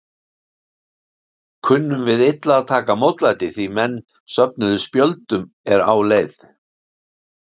Kunnum við illa að taka mótlæti, því menn söfnuðu spjöldum er á leið?